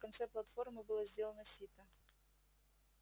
в конце платформы было сделано сито